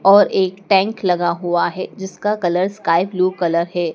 और एक टैंक लगा हुआ है जिसका कलर स्काई ब्लू कलर है।